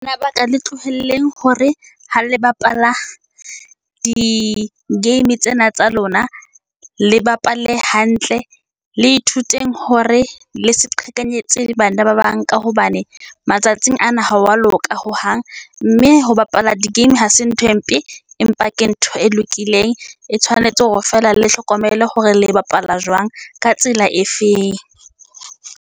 Na ba ka le tlohelleng hore ha le bapala di-game tsena tsa lona le bapale hantle, le ithuteng hore le seqhekanyetse le bana ba bang, ka hobane matsatsing ana ha wa loka hohang, mme ho bapala di-game hase ntho e mpe, empa ke ntho e lokileng. E tshwanetse hore feela le hlokomele hore le bapala jwang, ka tsela efeng.